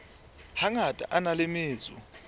hangata a na le metso